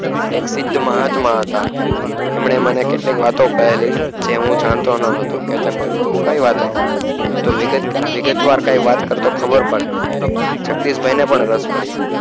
એક સિદ્ધ મહાત્મા હતા તેમને મને કેટલી કે વાતો કહેલી તે હું જાણતો ના હતો કેતન બોલિયો કય વાતો વિગત વાર કય વાત કરતો ખબર પડે જગદીશ ભાઈ ને પણ રાશ પડ્યો